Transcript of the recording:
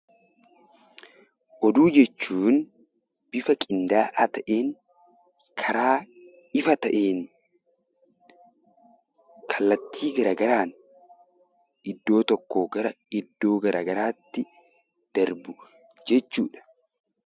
Oduu jechuun bifa qindaa'aa ta'een, karaa ifa ta'een, kallattii gara garaan iddoo tokkoo gara iddoo gara garaatti darbu jechuudha.